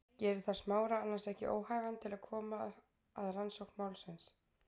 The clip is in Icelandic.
Gerir það Smára annars ekki óhæfan til að koma að rannsókn málsins?